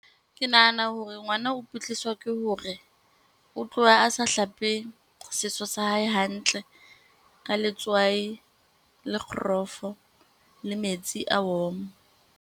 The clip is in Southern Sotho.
Ke nahana hore ngwana o kwetliswa ke hore, o tloha a sa hlape seso sa hae hantle ka letswai le kgorofo le metsi a warm.